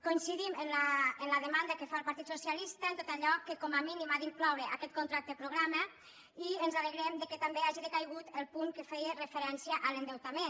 coincidim en la demanda que fa el partit socialista de tot allò que com a mínim ha d’incloure aquest contracte programa i ens alegrem que també hagi decaigut el punt que feia referència a l’endeutament